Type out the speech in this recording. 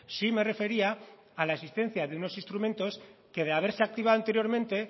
sí me refería a la existencia de unos instrumentos que de haberse activado anteriormente